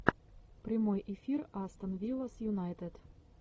прямой эфир астон вилла с юнайтед